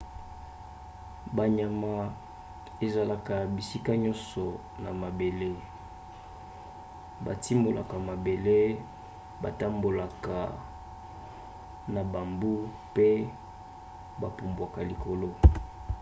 banyama ezalaka bisika nyonso na mabele. batimolaka mabele batambolaka na bambu pe bapumbwaka likolo